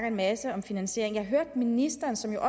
en masse om finansiering at jeg hørte ministeren som jo